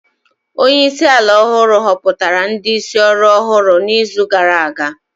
Onye isi ala ọhụrụ họpụtara ndị isi ọrụ ọhụrụ n'izu gara aga